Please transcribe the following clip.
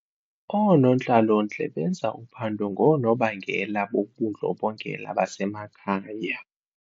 Oonontlalontle benza uphando ngoonobangela bobundlobongela basemakhaya.